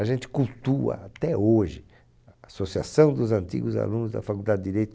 A gente cultua até hoje a associação dos antigos alunos da Faculdade de Direito.